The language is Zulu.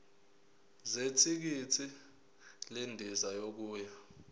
zethikithi lendiza yokuya